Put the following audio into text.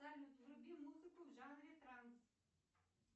вруби музыку в жанре транс